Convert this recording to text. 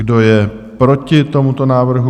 Kdo je proti tomuto návrhu?